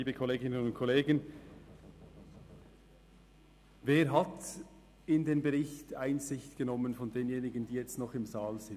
Wer hat in den Bericht Einsicht genommen von denjenigen, die jetzt noch im Saal sind?